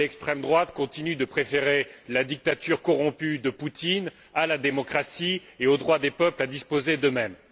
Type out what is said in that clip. L'extrême droite continue de préférer la dictature corrompue de Poutine à la démocratie et au droit des peuples à disposer d'eux mêmes.